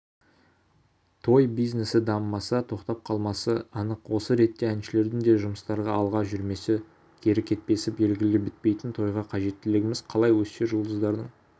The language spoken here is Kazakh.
той бизнесідамымаса тоқтап қалмасы анық осы ретте әншілердің де жұмыстары алға жүрмесе кері кетпесі белгілі бітпейтін тойға қажеттілігіміз қалай өссе жұлдыздардың